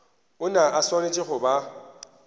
ona a swanetše go ba